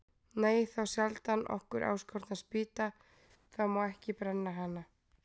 Nei, þá sjaldan okkur áskotnast spýta, þá má ekki brenna hana.